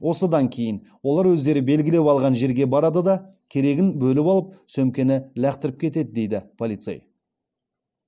осыдан кейін олар өздері белгілеп алған жерге барады да керегін бөліп алып сөмкені лақтырып кетеді дейді полицей